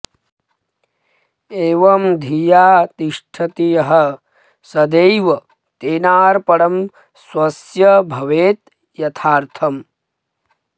एवं धिया तिष्ठति यः सदैव तेनार्पणं स्वस्य भवेद्यथार्थम्